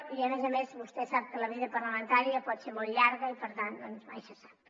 i a més a més vostè sap que la vida parlamentària pot ser molt llarga i per tant mai se sap